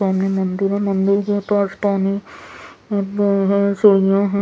सामने मंदिर है मंदिर के पास पानी अ ब सीढियाँ हैं ।